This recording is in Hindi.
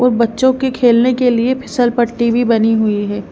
और बच्चों के खेलने के लिए फिसलपट्टी भी बनी हुई है।